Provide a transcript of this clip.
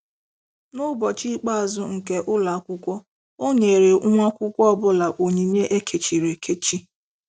N'ụbọchị ikpeazụ nke ụlọ akwụkwọ, o nyere nwa akwụkwọ ọ bụla onyinye ekechiri ekechi.